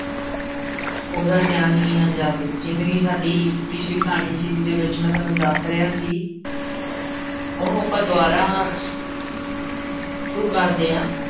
ਉਹਦਾ ਧਿਆਨ ਹੀ ਨਾ ਜਾਵੇ, ਜਿਵੇਂ ਕਿ ਸਾਡੀ ਪਿੱਛਲੀ ਕਹਾਣੀ 'ਚ ਜਿਹਦੇ ਵਿੱਚ ਮੈਂ ਤੁਹਾਨੂੰ ਦੱਸ ਰਿਹਾ ਸੀ ਉਹਨੂੰ ਆਪਾਂ ਦੁਬਾਰਾ ਸ਼ੁਰੂ ਕਰਦੇ ਹਾਂ